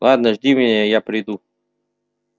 ладно жди меня и я приду